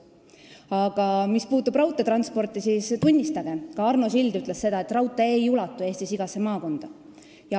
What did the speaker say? Aga mis puutub raudteetransporti, siis tunnistagem – ka Arno Sild ütles seda –, et raudtee ei ulatu Eestis igasse maakonda.